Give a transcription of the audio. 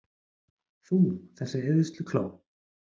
Þú, þessi eyðslukló!